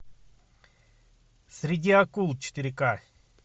среди акул четыре ка